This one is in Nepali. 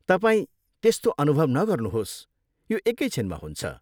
तपाईँ त्यस्तो अनुभव नगर्नुहोस्, यो एकै छिनमा हुन्छ।